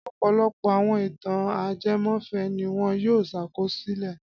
Ọ̀pọ̀lọpọ̀ àwọn ìtàn ajẹmọ́fẹ̀ẹ́ ni wọn yóò ṣàkọsílẹ̀.